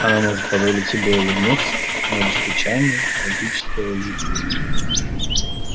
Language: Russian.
она может позволить себе улыбнуться но лишь печальной трагической улыбкой